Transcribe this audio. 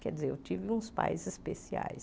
Quer dizer, eu tive uns pais especiais.